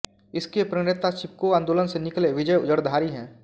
इसके प्रणेता चिपको आंदोलन से निकले विजय जड़धारी हैं